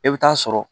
E bɛ taa sɔrɔ